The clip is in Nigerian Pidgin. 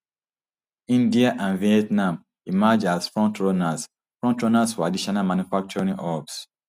india and vietnam emerge as frontrunners frontrunners for additional manufacturing hubs